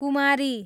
कुमारी